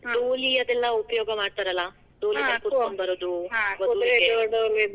ಡೋಲಿ ಅದೆಲ್ಲಾ ಉಪಯೋಗ ಮಾಡ್ತಾರಲಾ, ಕುದುರೆ ಮೇಲೆ ಕುಂಡರಸ್ಗೊಂಡ್ ಬರೋದು.